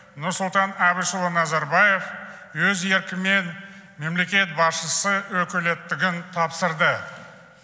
нұрсұлтан әбішұлы назарбаев өз еркімен мемлекет басшысы өкілеттігін тапсырды